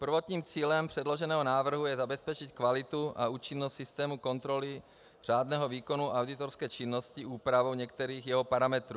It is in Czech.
Prvotním cílem předloženého návrhu je zabezpečit kvalitu a účinnost systému kontroly řádného výkonu auditorské činnosti úpravou některých jeho parametrů.